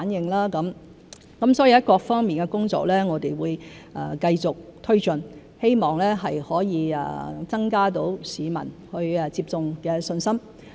我們會繼續推進各方面的工作，希望可以增加市民接種的信心。